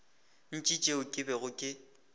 ntši tšeo ke bego ke